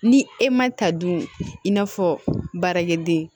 Ni e ma ta dun i n'a fɔ baarakɛden